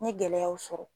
N ye gɛlɛyaw sɔrɔ